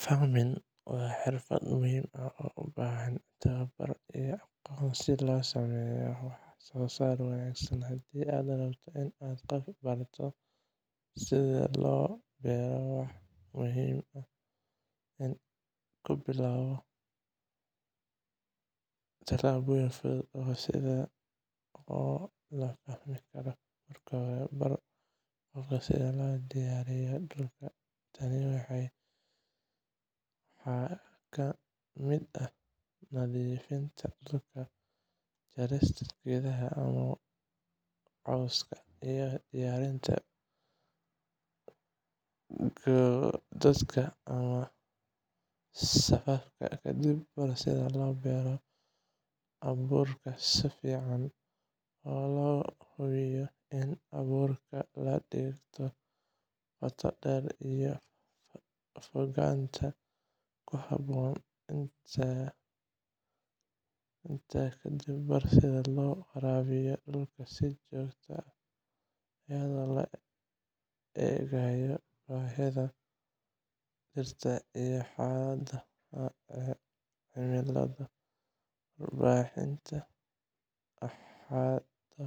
Farming waa xirfad muhiim ah oo u baahan tababar iyo aqoon si loo sameeyo waxsoosaar wanaagsan. Haddii aad rabto inaad qof barato sida loo beero, waxaa muhiim ah inaad ku bilowdo tallaabooyin fudud oo la fahmi karo. Marka hore, bar qofka sida loo diyaariyo dhulka. Tani waxaa ka mid ah nadiifinta dhulka, jarista geedaha ama cawska, iyo diyaarinta godadka ama safafka. Kadib, bar sida loo beero abuurka si fiican, oo la hubiyo in abuurka la dhigto qoto dheer iyo fogaanta ku habboon. Intaa ka dib, bar sida loo waraabiyo dhulka si joogto ah, iyadoo loo eegayo baahida dhirta iyo xaaladaha cimilada. Waraabinta xad-dhaafka